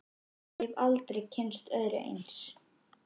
Ég hef aldrei kynnst öðru eins.